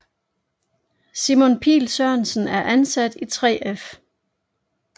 Simon Pihl Sørensen er ansat i 3F